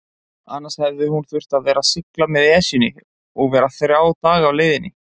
Annars hefði hún þurft að sigla með Esjunni og vera þrjá daga á leiðinni.